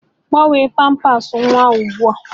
Gbanwee pamper nwa ahụ ụgbua